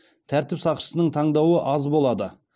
тәртіп сақшысының таңдауы аз болады